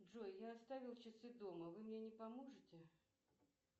джой я оставил часы дома вы мне не поможете